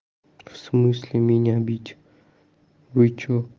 в смысле меня бить вычумо